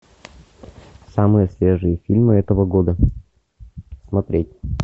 самые свежие фильмы этого года смотреть